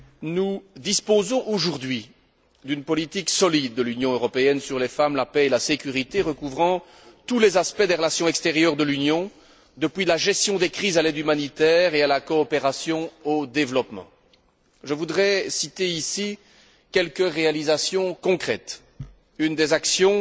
Nous disposons aujourd'hui d'une politique solide de l'Union européenne sur les femmes, la paix et la sécurité, recouvrant tous les aspects des relations extérieures de l'Union, depuis la gestion des crises jusqu'à l'aide humanitaire et à la coopération au développement. Je voudrais citer ici quelques réalisations concrètes une des actions